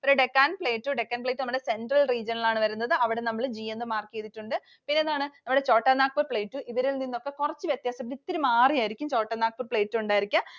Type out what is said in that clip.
പിന്നെ Deccan Plateau. Deccan Plateau നമ്മുടെ central region ലാണ് വരുന്നത്. അവിടെ നമ്മൾ G എന്ന് mark ചെയ്തിട്ടുണ്ട്. പിന്നെന്താണ്? നമ്മുടെ Chotanagpur Plateau. ഇവരിൽ നിന്നും ഒക്കെ കുറച്ചു വ്യത്യാസത്തിൽ ഇത്തിരി മാറിയായിരിക്കും Chotanagpur Plateau ഉണ്ടായിരിക്ക.